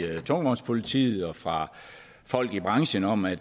tungvognspolitiet og fra folk i branchen om at